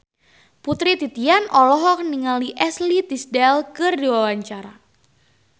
Putri Titian olohok ningali Ashley Tisdale keur diwawancara